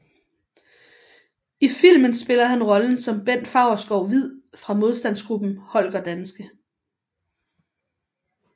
I filmen spiller han rollen som Bent Faurschou Hviid fra modstandsgruppen Holger Danske